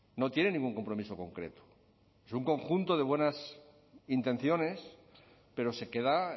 no tiene ningún compromiso concreto es un conjunto de buenas intenciones pero se queda